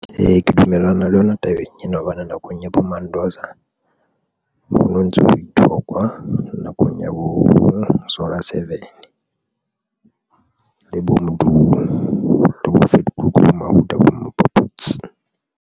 Ee, ke dumellana le yona tabeng ena, hobane nakong ya Mandoza ho no ntso ho ithokwa nakong ya bo Zola seven le bo Ndu le bo Vetokoek bo Mawuda bo Mapaputsi.